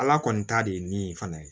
Ala kɔni ta de ye nin fana ye